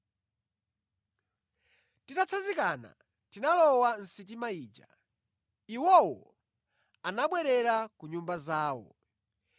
Titatsanzikana, tinalowa mʼsitima ija, iwowo anabwerera ku nyumba zawo.